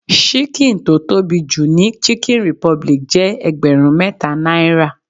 Ṣíkìn tó tóbi jù ní chicken republic jẹ́ ẹgbẹrun mẹta náírà.